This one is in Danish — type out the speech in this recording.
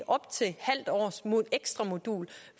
halvt års ekstra modul